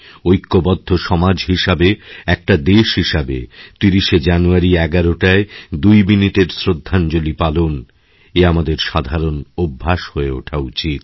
ঐক্যবদ্ধ সমাজ হিসেবে একটা দেশ হিসেবে৩০শে জানুয়ারি ১১টায় দুই মিনিটের শ্রদ্ধাঞ্জলি পালন এ আমাদের সাধারণ অভ্যাস হয়ে ওঠা উচিত